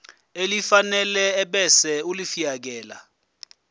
elifanele ebese ulifiakela